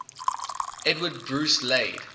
edward bruce laid